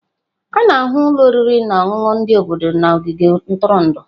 A na-ahụ ụlọ oriri na ọṅụṅụ ndị obodo na ogige ntụrụndụ.